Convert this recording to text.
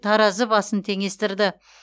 таразы басын теңестірді